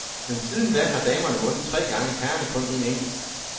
Men siden da har damerne vundet tre gange, herrerne kun en enkelt.